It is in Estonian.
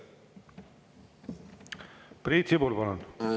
Priit Sibul, palun!